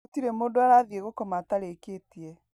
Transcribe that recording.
Gũtirĩ mũndũ arathiĩ gũkoma atarĩkĩtie